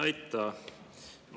Aitäh!